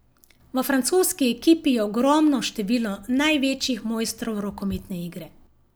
V francoski ekipi je ogromno število največjih mojstrov rokometne igre.